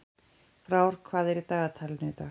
Frár, hvað er í dagatalinu í dag?